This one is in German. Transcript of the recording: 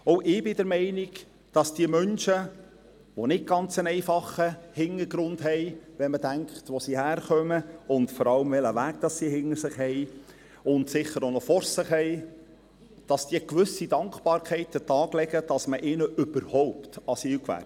Auch ich bin der Meinung, dass diese Menschen – die einen nicht ganz einfachen Hintergrund haben, wenn man bedenkt, woher sie kommen und vor allem, welchen Weg sie hinter sich und sicher auch noch vor sich haben – eine gewisse Dankbarkeit an den Tag legen, dass man ihnen überhaupt Asyl gewährt.